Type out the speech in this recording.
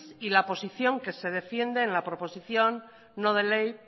y la posición que se defiende en la proposición no de ley